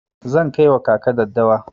Zan kai wa kaka daddawa.